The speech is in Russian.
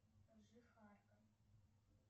жихарка